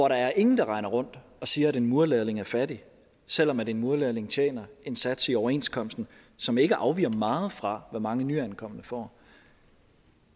er ingen der render rundt og siger at en murerlærling er fattig selv om en murerlærling tjener en sats i overenskomsten som ikke afviger meget fra hvad mange nyankomne får